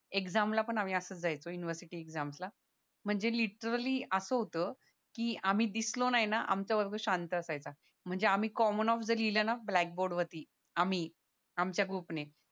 exam ला पण आम्ही असच जायचो युनिव्हर्सिटी एक्सामस ला म्हणजे लिट्ररी अस होत की आम्ही दिसलो नाय ना आमचा वर्ग शांत असायचा म्हणजे आम्ही कॉमन ऑफ जरी लिहिलं ना ब्लॅक बोर्ड वरती आम्ही आमच्या ग्रुप ने